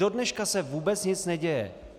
Dodneška se vůbec nic neděje.